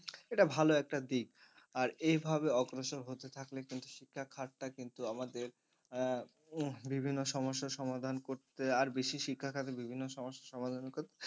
এটা ভালো একটা দিক আর এই ভাবে অগ্রসর হতে থাকলে কিন্তু শিক্ষার টা কিন্তু আমাদের আহ উম বিভিন্ন সমস্যার সমাধান করতে আর বেশি শিক্ষার বিভিন্ন সমস্যা সমাধান করতে